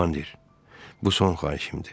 Komandir, bu son xahişimdir.